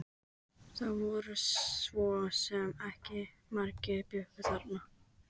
Það voru svo sem ekki margir sem bjuggu þarna.